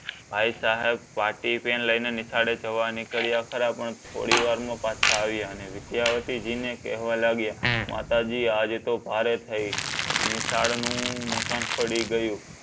ભાઈસાહેબ પાટીપેન લઈને નિશાળે જવા નીકળ્યા ખરા પણ થોડી વારમાં પાછા આવ્યા અને વિધ્યાવતીજીને કેહવા લાગ્યા માતાજી આજે તો ભારે થઈ નિશાળનું મકાન પડી ગયું.